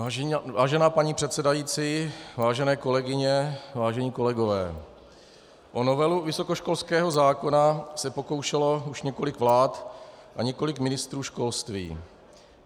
Vážená paní předsedající, vážené kolegyně, vážení kolegové, o novelu vysokoškolského zákona se pokoušelo už několik vlád a několik ministrů školství.